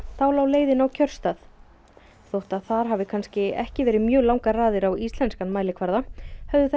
þá lá leiðin á kjörstað þótt að þar hafi kannski ekki verið mjög langar raðir á íslenskan mælikvarða höfðu þær